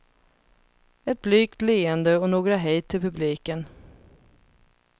Ett blygt leende och några hej till publiken.